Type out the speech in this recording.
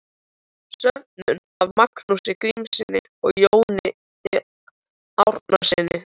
Söfnuð af Magnúsi Grímssyni og Jóni Árnasyni.